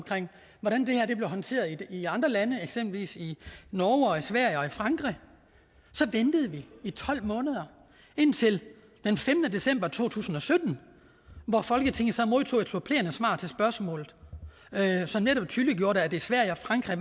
hvordan det her blev håndteret i andre lande eksempelvis i norge og i sverige og i frankrig så ventede vi i tolv måneder indtil den femte december to tusind og sytten hvor folketinget så modtog et supplerende svar til spørgsmålet som netop tydeliggjorde at i sverige og frankrig